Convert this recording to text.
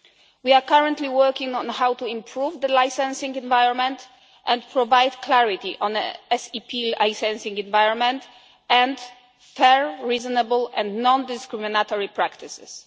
We are currently working on how to improve the licencing environment and provide clarity on an SEP licencing environment and fair, reasonable and non discriminatory practices.